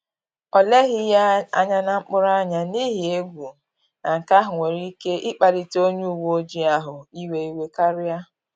Ọ leghi ya anya na mkpuru anya, n’ihi egwu na nke ahụ nwere ike ịkpalite onye uweojii ahụ iwe iwe karia